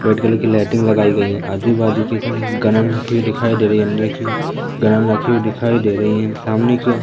white colour की lighting लगाई गई है आजू-बाजू दिखाई दे रही है अंदर की ओर रखी हुई दिखाई दे रही है सामने की ओ --